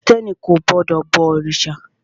Krìstẹ́ni kò gbọdọ̀ bọ òrìṣà.